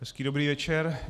Hezký dobrý večer.